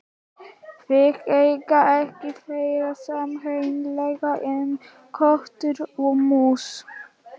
Þið eigið ekki fleira sameiginlegt en köttur og mús.